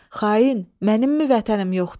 Xain, mənimmi vətənim yoxdur?